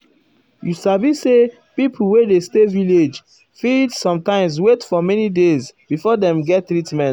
you sabi say pipo wey dey stay village fit fit sometimes wait for many days before dem get treatment.